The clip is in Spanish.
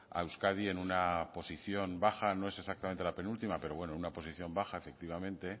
a euskadi en una posición baja no es exactamente la penúltima pero bueno una posición baja efectivamente